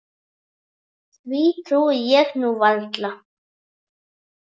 Því trúi ég nú varla.